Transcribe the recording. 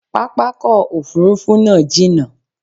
Pápákọ̀ òfurufú náà jínà